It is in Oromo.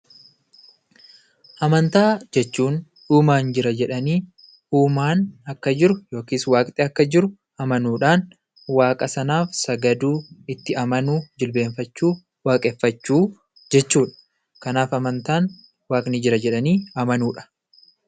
Amantaa jechuun, uumaan jira jedhanii uumaan akka jiru yookaan waaqni akka jiru amanuudhaan waaqa sanaaf sagaduu sagaduu jilbeeffachuun waaqeffachuu jechuudha. Kanaaf amantaan waaqni jira jedhanii amanuudha.